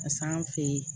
Kas'an fe yen